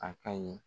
A ka ɲi